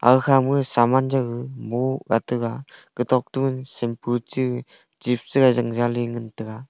agkhama samanuaw mohga taga agtok to sampoo che chips chigai jang jaley chi ngantaiga.